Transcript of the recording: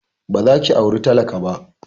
Ba za ki aura talaka ba!